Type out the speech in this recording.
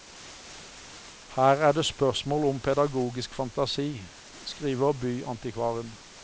Her er det spørsmål om pedagogisk fantasi, skriver byantikvaren.